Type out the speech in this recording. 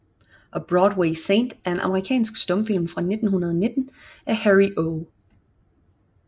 A Broadway Saint er en amerikansk stumfilm fra 1919 af Harry O